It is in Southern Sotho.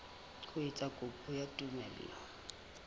ho etsa kopo ya tumello